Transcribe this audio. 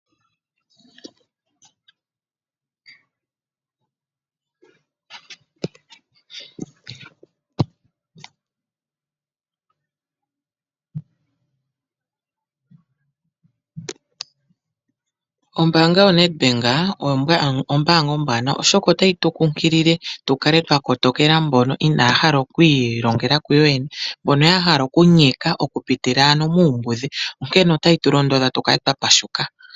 Ombaanga yoNedBank oyo ombaanga ombwanawa, oshoka otayi tu kunkilile tu kale twa kotokela mbono inaaya hala okuilongela ku yoyene, mbono ya hala kuyka okupitila ano muumbudhi, onkene otayi tu londodha tu kale twa pashuka.